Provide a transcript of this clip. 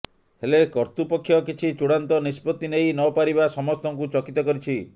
ହେଲେ କର୍ତ୍ତୃପକ୍ଷ କିଛି ଚୂଡ଼ାନ୍ତ ନିଷ୍ପତ୍ତି ନେଇ ନପାରିବା ସମସ୍ତଙ୍କୁ ଚକିତ କରିଛି